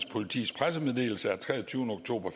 politis pressemeddelelse af treogtyvende oktober